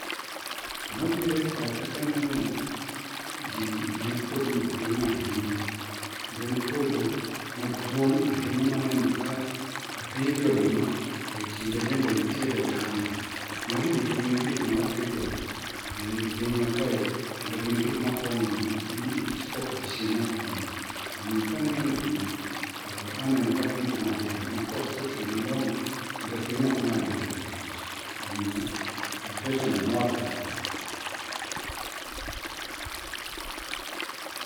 Gima biro e pacha kaneno gini en puodho maduong' ahinya kendo en puodho maduong' ahinya ma aneno ka opidhie oduma to kinde bende nitie gi oganda. Magi duto gin gik ma wapidho ei pinywa kae kendo gin gik makonyowa gi korka chiemo koni. Omiyo ka aneno gigi to aneno ka piny dhi maber ma koth kochwe malong'o to piny ok nyal bedo gi kech omiyo plantation mora kabisa.